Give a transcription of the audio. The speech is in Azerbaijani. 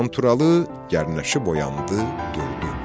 Qanturalı gərnəşib oyandı, durdu.